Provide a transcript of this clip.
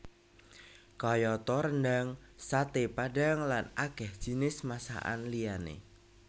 Kayata rendhang saté padhang lan akèh jinis masakan liyané